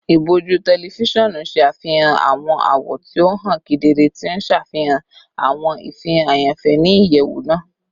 Iboju tẹlifisiọnu ṣe afihan awọn awọ ti o han kedere, ti n ṣafihan awọn ifihan ayanfẹ ni iyẹwu naa